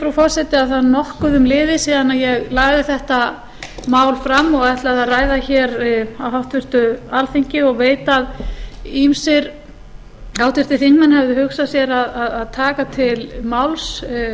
frú forseti að það er nokkuð liðið síðan ég lagði þetta mál fram og ætlaði að ræða hér á háttvirtu alþingi og veit að ýmsir háttvirtir þingmenn hefðu hugsað sér að taka til máls